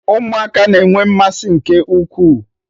Ụmụaka na-enwe mmasị nke ukwuu